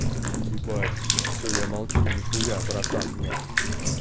ебать всё я молчу нихуя братан нет